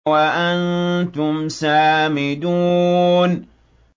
وَأَنتُمْ سَامِدُونَ